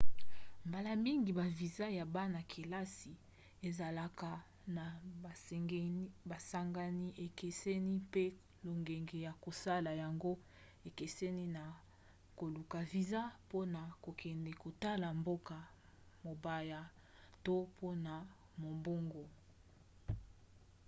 mbala mingi baviza ya bana-kelasi ezalaka na masengami ekeseni mpe lolenge ya kosala yango ekeseni na koluka viza mpona kokende kotala mboka mopaya to mpona mombongo